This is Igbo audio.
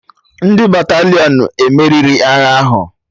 Ndị Batalịọn emeriri agha ahụ?